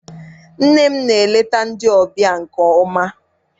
Nne m na-eleta ndị ọbịa nke ọma.